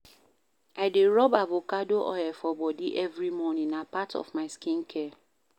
I dey rob avacado oil for bodi every morning, na part of my skincare.